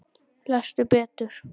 Lestu betur!